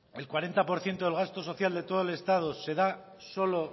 el cuarenta por ciento del gasto social de todo el estado se da solo